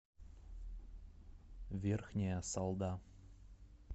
верхняя салда